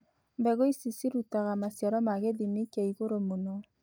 Mbegu ici cirutaga maciaro ma gĩthimi kĩa igũrũ mũno.